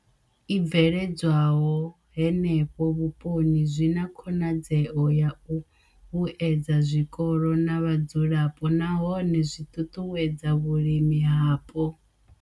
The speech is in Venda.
I bveledzwaho henefho vhuponi zwi na khonadzeo ya u vhuedza zwikolo na vhadzulapo nahone zwi ṱuṱuwedza vhulimi hapo.